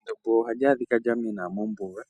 Endombo ohali adhika lyamena mombuga